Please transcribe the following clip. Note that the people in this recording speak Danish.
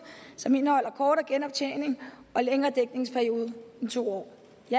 som indeholder kortere genoptjening og længere dækningsperiode end to år